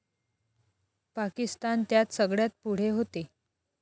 पाकिस्तान त्यात सगळ्यात पुढे होते.